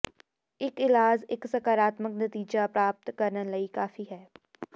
ਇੱਕ ਇਲਾਜ ਇੱਕ ਸਕਾਰਾਤਮਕ ਨਤੀਜਾ ਪ੍ਰਾਪਤ ਕਰਨ ਲਈ ਕਾਫੀ ਹੈ